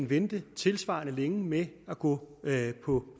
vente tilsvarende længe med at gå på